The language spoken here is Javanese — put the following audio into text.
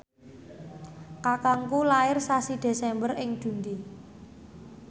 kakangku lair sasi Desember ing Dundee